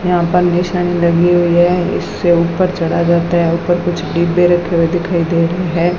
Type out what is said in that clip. यहां पंडीशन लगी हुई है इससे ऊपर चढ़ा जाता है ऊपर कुछ डिब्बे रखे हुए दिखाई दे रहे है।